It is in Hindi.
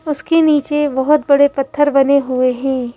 उसके नीचे बहोत बड़े पत्थर बने हुए हैं।